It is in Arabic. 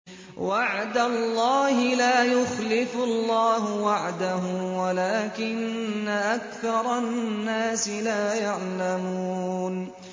وَعْدَ اللَّهِ ۖ لَا يُخْلِفُ اللَّهُ وَعْدَهُ وَلَٰكِنَّ أَكْثَرَ النَّاسِ لَا يَعْلَمُونَ